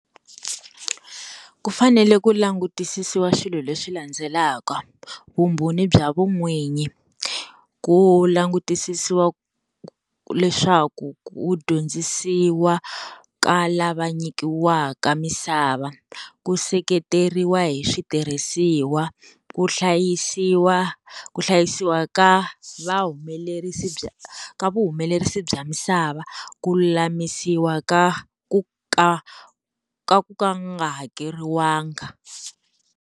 Ku fanele ku langutisisiwa swilo leswi landzelaka, vumbhoni bya vun'wini, ku langutisisiwa leswaku ku dyondzisiwa ka lava nyikiwaka misava ku seketeriwa hi switirhisiwa, ku hlayisiwa ku hlayisiwa ka vahumelerisi bya ka vuhumelerisi bya misava, ku lulamisiwa ka ku ka ku nga hakeriwanga.